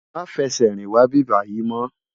Má fè sè rin wá ibibàyi mò